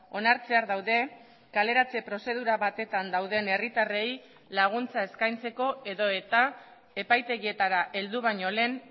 onartzear daude kaleratze prozedura batetan dauden herritarrei laguntza eskaintzeko edota epaitegietara heldu baino lehen